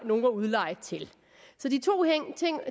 nogen at udleje til så de to